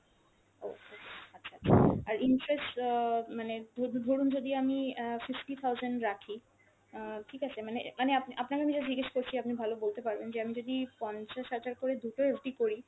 okay, আচ্ছা আচ্ছা, আর interest অ্যাঁ মানে ধো~ ধরুন যদি আমি অ্যাঁ fifty thousand রাখি, অ্যাঁ ঠিক আছে মানে, মানে আপনি আপনাকে আমি just জিজ্ঞেস করছি আপনি ভালো বলতে পারবেন যে আমি যদি পঞ্চাশ হাজার করে দুটো FD করি